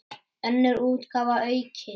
Önnur útgáfa, aukin.